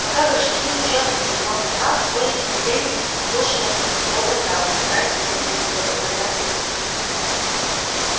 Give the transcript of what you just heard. пока гражданин в чёрном принимал заказ коля с удивлением вслушивался в говор зала стараясь уловить хоть одну понятную мысль